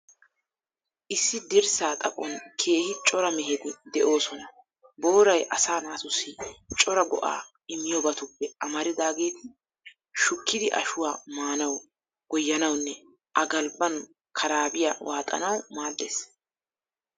Issi dirssaa xaphon keehi cora meheti de'oosona. Booray asaa naatussi cora go''aa immiyoobatuppe amaridaageeti, shukkidi ashuwaa maanawu, goyyanawunne A galbban karaabiyaa waaxanawu maaddees.